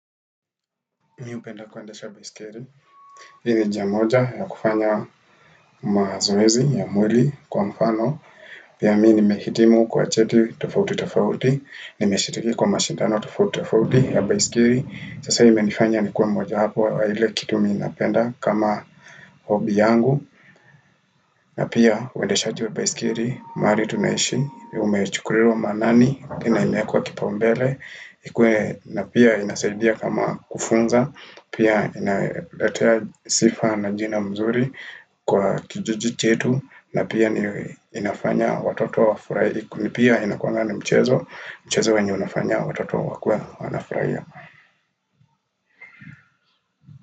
Mi hupenda kuendesha baisikeli. Hii ni njia moja ya kufanya mazoezi ya mwili kwa mfano. Pia mi nimehitimu kwa cheti tofauti tofauti. Nimeshiliki kwa mashindano tofauti tofauti ya baisikili. Sasa imenifanya nikuwe moja wapo wa ile kitu minapenda kama hobi yangu. Na pia uwendeshaji wa baisikili. Mahali tunaishi umechukuliwa maanani. Tena imewekwa kipaumbele. Ikuwe na pia inasaidia kama kufunza. Pia inaletea sifa na jina mzuri kwa kijiji chetu na pia inafanya watoto wafurahi Kunipia inakuanga ni mchezo, mchezo wenye unafanya watoto wakuwe wanafurahia.